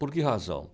Por que razão?